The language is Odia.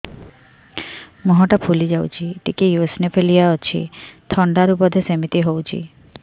ମୁହଁ ଟା ଫୁଲି ଯାଉଛି ଟିକେ ଏଓସିନୋଫିଲିଆ ଅଛି ଥଣ୍ଡା ରୁ ବଧେ ସିମିତି ହଉଚି